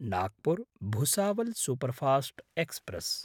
Nagpur Bhusawal superfast express